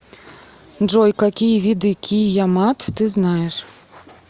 джой какие виды киямат ты знаешь